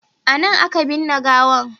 A nan a ka binne gawan